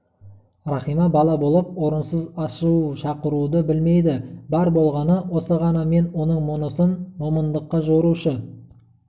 рахима бала болып орынсыз ашу шақыруды білмейді бар болғаны осы ғана мен оның мұнысын момыңдыққа жорушы